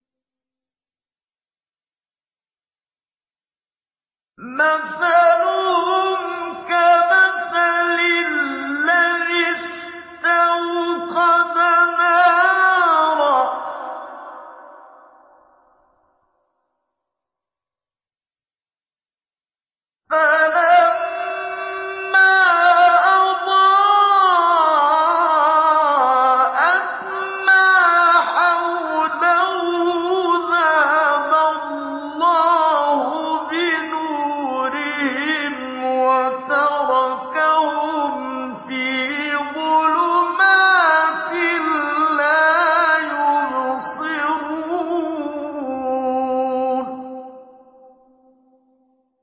مَثَلُهُمْ كَمَثَلِ الَّذِي اسْتَوْقَدَ نَارًا فَلَمَّا أَضَاءَتْ مَا حَوْلَهُ ذَهَبَ اللَّهُ بِنُورِهِمْ وَتَرَكَهُمْ فِي ظُلُمَاتٍ لَّا يُبْصِرُونَ